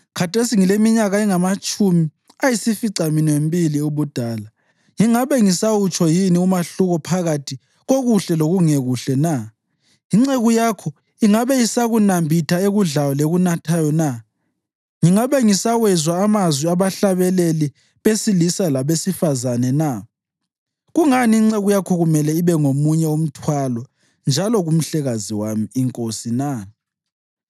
Khathesi ngileminyaka engamatshumi ayisificaminwembili ubudala. Ngingabe ngisawutsho yini umahluko phakathi kokuhle lokungekuhle na? Inceku yakho ingabe isakunambitha ekudlayo lekunathayo na? Ngingabe ngisawezwa amazwi abahlabeleli besilisa labesifazane na? Kungani inceku yakho kumele ibe ngomunye umthwalo njalo kumhlekazi wami, inkosi na?